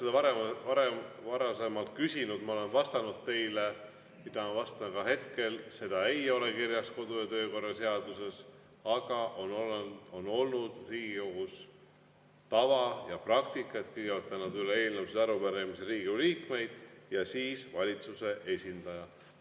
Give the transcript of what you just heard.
Te olete seda varem küsinud ja ma olen vastanud teile, mida ma vastan ka hetkel: seda ei ole kirjas kodu- ja töökorra seaduses, aga on olnud Riigikogus tava ja praktika, et kõigepealt annavad üle eelnõusid ja arupärimisi Riigikogu liikmed ja siis valitsuse esindaja.